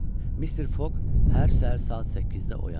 Mister Foq hər səhər saat 8-də oyanırdı.